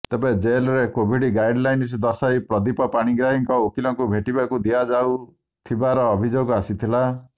ତେବେ ଜେଲ୍ରେ Covid guideline ଦର୍ଶାଇ ପ୍ରଦୀପ ପାଣିଗ୍ରାହୀଙ୍କ ଓକିଲଙ୍କୁ ଭେଟିବାକୁ ଦିଆଯାଉଥିବାର ଅଭିଯୋଗ ଆସିଥିଲା